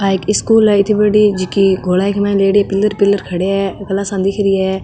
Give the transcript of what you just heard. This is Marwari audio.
आ एक स्कूल है इती बड़ी जकी गोलाई के माय लेएडी पिलर पिलर खड़ा है क्लासा दिखरी है।